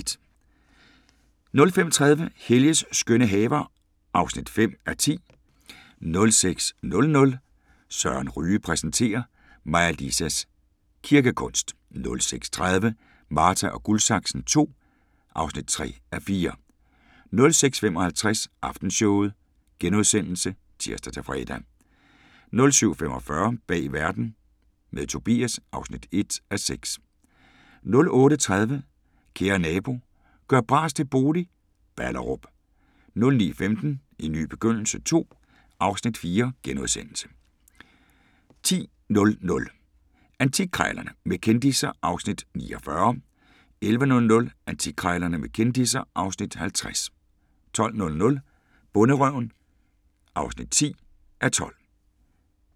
05:30: Helges skønne haver (5:10) 06:00: Søren Ryge præsenterer: Maja Lisas kirkekunst 06:30: Marta & Guldsaksen II (3:4) 06:55: Aftenshowet *(tir-fre) 07:45: Bag Verden – med Tobias (1:6) 08:30: Kære nabo – gør bras til bolig – Ballerup 09:15: En ny begyndelse II (Afs. 4)* 10:00: Antikkrejlerne med kendisser (Afs. 49) 11:00: Antikkrejlerne med kendisser (Afs. 50) 12:00: Bonderøven (10:12)